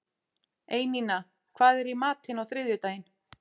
Einína, hvað er í matinn á þriðjudaginn?